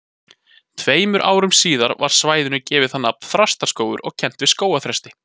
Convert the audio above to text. Tveimur árum síðar var svæðinu gefið nafnið Þrastaskógur og kennt við skógarþresti.